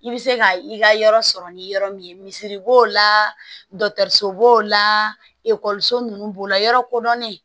I bɛ se ka i ka yɔrɔ sɔrɔ ni yɔrɔ min ye misiri b'o la dɔkɔtɔrɔso b'o la ekɔliso ninnu b'o la yɔrɔ kodɔnnen